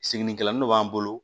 Siginikɛnin dɔ b'an bolo